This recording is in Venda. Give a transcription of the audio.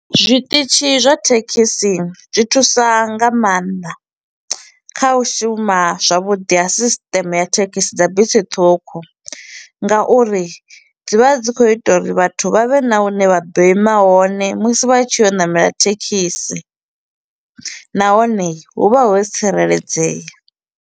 Zwiṱitshi zwa thekhisi zwi thusa nga maanḓa, kha u shuma zwavhuḓi ha system ya thekhisi dza bisi ṱhukhu nga uri dzi vha dzi kho u ita uri vhathu vha vhe na hune vha ḓo ima hone musi vha tshi ya u ṋamela thekhisi, nahone hu vha ho tsireledzea.